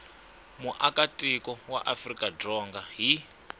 muakatiko wa afrika dzonga hi